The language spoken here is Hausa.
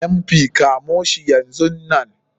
MP,kamshi yanzun Nan.